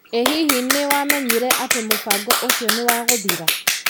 Ĩ hihi nĩ wamenyire atĩ mũbango ũcio nĩ wagũthira?